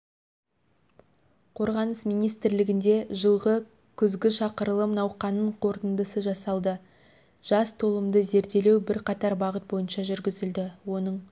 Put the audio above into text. қорғаныс министрлігінде жылғы күзгі шақырылым науқанының қорытындысы жасалды жас толымды зерделеу бірқатар бағыт бойынша жүргізілді оның